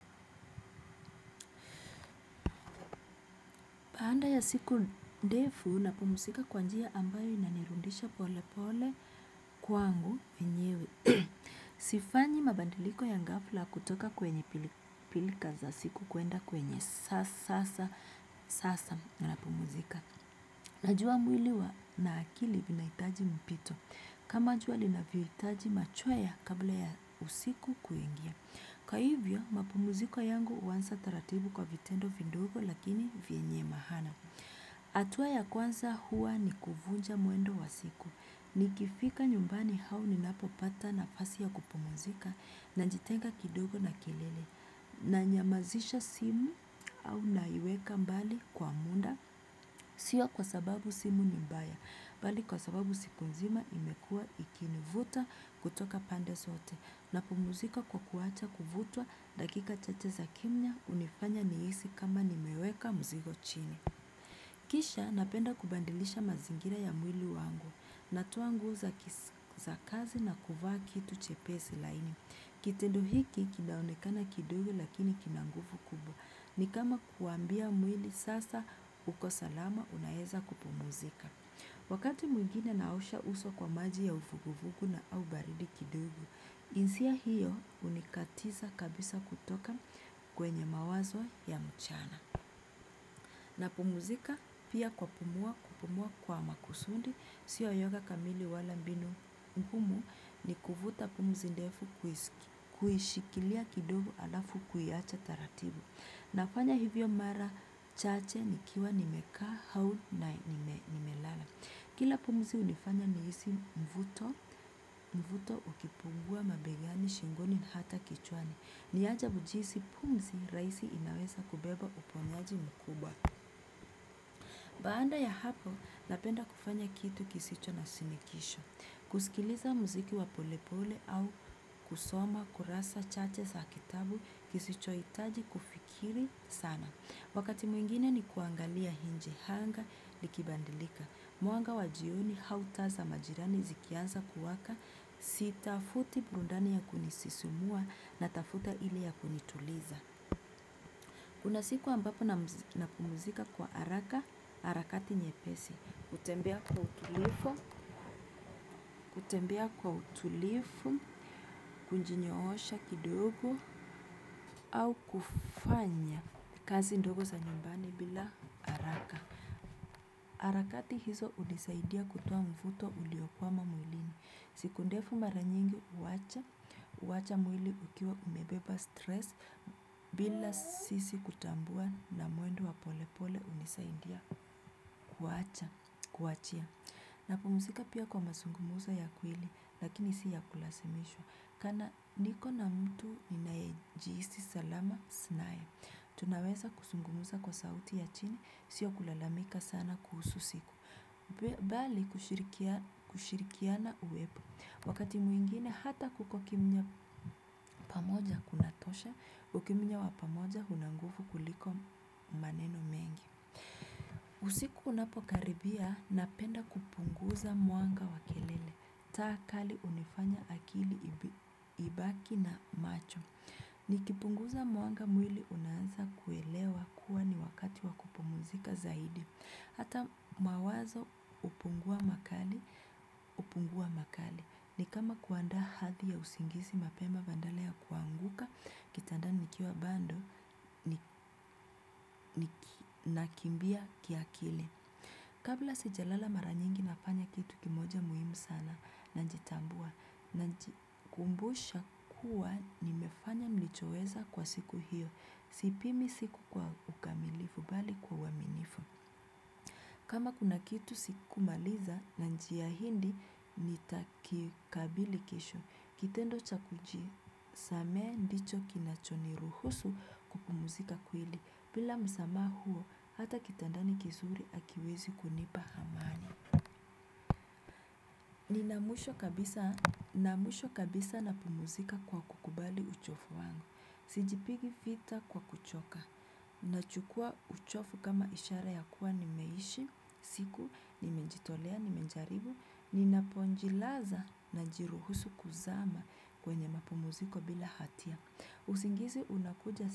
Baanda ya siku ndefu napumzika kwa njia ambayo inanirudisha kwangu mwenyewe sifanyi mabadiliko ya gafla kutoka kwenye siku kuenda kwa sasa napumzika. Najia mwili wa na akili vina itaji mpito. Kama jua lina vio itaji machwea kabla ya usiku kuengia. Kwa hivyo, mapumuziko yangu uansa taratibu kwa vitendo vidogo lakini vienye mahana. Atua ya kwanza hua ni kuvunja mwendo wa siku. Ni kifika nyumbani hau ni napopata nafasi ya kupumuzika na najitenga kidogo na kilele. Na nyamazisha simu au na iweka mbali kwa munda. Sia kwa sababu simu ni mbaya. Bali kwa sababu siku nzima imekua ikini vuta kutoka pande sote. Napumuzika kwa kuwacha kuvutwa dakika chache za kimnya unifanya nihisi kama nimeweka muzigo chini. Kisha napenda kubandilisha mazingira ya mwili wangu. Natoa nguo za kisa kazi na kuvaa kitu chepesi laini. Kitindo hiki kinaonekana kidugu lakini kinangufu kubwa. Ni kama kuambia mwili sasa uko salama unaeza kupumuzika. Wakati mwigine naosha uso kwa maji ya ufuguvugu na ubaridi kidogo. Insia hiyo unikatiza kabisa kutoka kwenye mawazo ya mchana. Napumzika pia kwa kupumua kwa maksudi. Siyo yoga kamili wala mbinu nkumu ni kuvuta pumzi ndefu kuhishikilia kidogo alafu kuiacha taratibu. Na kufanya hivyo mara chache nikiwa nimekaa hau na nimelala. Kila pumzi unifanya nihisi mvuto, mvuto ukipungua mabegani, shingoni, hata kichwani. Niaja ujisi pumzi raisi inaweza kubeba uponyaji mkubwa. Baanda ya hapo, napenda kufanya kitu kisicho na sinikisho. Kusikiliza mziki wapolepole au kusoma, kurasa, chache sa kitabu, kisicho itaji kufikiri sana. Wakati mwingine ni kuangalia nje hanga likibandilika. Mwanga wajioni hautaza majirani zikianza kuwaka sitafuti burundani ya kunisisimua na tafuta ili ya kunituliza. Unasiku ambapo na kupumzika kwa haraka, harakati nyepesi. Kutembea kwa utulifu, kunjinyoosha kidogo au kufanya kazi ndogo za nyumbani bila haraka. Harakati hizo unisaidia kutoa mvuto uliokwama mwilini. Siku ndefu maranyingi uacha, uacha mwili ukiwa umebeba stress bila sisi kutambua na mwendo wa pole pole unisaindia kuachia. Napumusika pia kwa masungumzo ya kwili lakini siya kulasemishwa. Kana niko na mtu ninayejiisi salama naye. Tunaweza kusungumuza kwa sauti ya chini, si ya kulalamika sana kuhusu siku. Bali kushirikiana uwepo wakati mwingine hata kuko kimya pamoja kunatosha ukimnya wapamoja unangufu kuliko maneno mengi usiku unapokaribia napenda kupunguza mwanga wa kelele taa kali unifanya akili ibaki na macho nikipunguza mwanga mwili unansa kuelewa kuwa ni wakati wakupumuzika zaidi. Hata mawazo upungua makali, upungua makali. Ni kama kuandaa hathi ya usingisi mapema bandala ya kuanguka, kitanda nikiwa bando nakimbia kiakili. Kabla sijalala maranyingi nafanya kitu kimoja muhimu sana na njitambua, najikumbusha kuwa ni mefanya nilichoweza kwa siku hiyo. Sipimi siku kwa ukamilifu bali kwa uwaminifu. Kama kuna kitu sikumaliza na njiya hidi nitakikabili kisho. Kitendo cha kuji samehe ndicho kinachoni ruhusu kupumuzika kwili. Bila msamaha huo, hata kitandani kizuri akiwezi kunipa amani. Ni namwisho kabisa na pumuzika kwa kukubali uchofu wangu. Sijipigi fita kwa kuchoka. Na chukua uchofu kama ishara ya kuwa nimeishi, siku, nimenjitolea, nimenjaribu, ninaponjilaza na jiruhusu kuzama kwenye mapumuziko bila hatia. Usingizi unakuja siku.